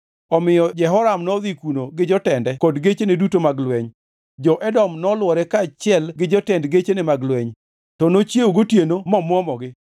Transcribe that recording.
Omiyo Jehoram nodhi kuno gi jotende kod gechene duto mag lweny. Jo-Edom nolwore kaachiel gi jotend gechene mag lweny, to nochiewo gotieno momwomogi.